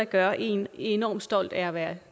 gør en enormt stolt af at være